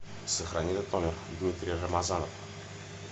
сохрани этот номер дмитрий рамазанов